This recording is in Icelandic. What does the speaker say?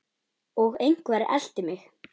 Og einhver elti mig.